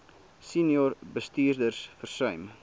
senior bestuurders versuim